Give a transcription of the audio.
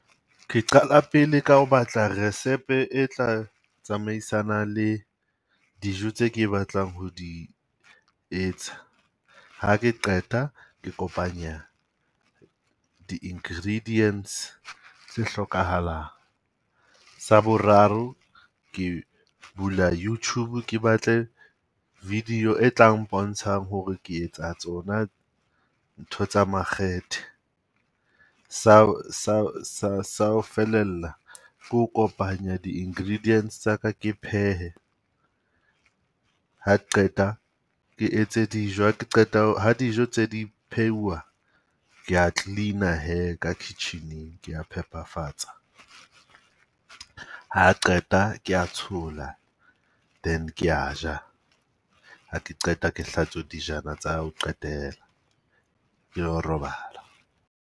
Ke qala pele ka ho batla resepe e tla tsamaisana le dijo tse ke batlang ho di etsa. Ha ke qeta, ke kopanya di-ingredients tse hlokahalang. Sa boraro ke bula Youtube ke batle video e tlang pontshang hore ke etsa tsona ntho tsa makgethe. Sa sa sa sa o felella ko kopanya di-ingredients tsa ka ke phehe, ha qeta ke etse dijo ha ke qeta ho, ha dijo tse di phehuwa ke ya clean-a hee ka kitchen-eng ke ya phepafatsa. Ha qeta ke ya tshola then ke ya ja. Ha ke qeta ke hlatswa dijana tsa ho qetela, ke yo robala.